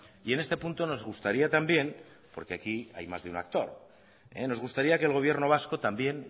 y en este punto nos gustaría también porque aquí hay más de un actor nos gustaría que el gobierno vasco también